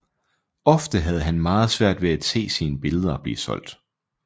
Ofte havde han meget svært ved at se sine billeder blive solgt